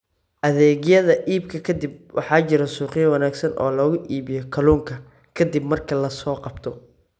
Adeegyada Iibka Kadib Waxaa jira suuqyo wanaagsan oo lagu iibiyo kalluunka ka dib marka la soo qabto.